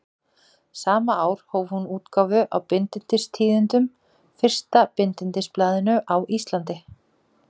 Sama ár hóf hún útgáfu á Bindindistíðindum, fyrsta bindindisblaðinu á Íslandi.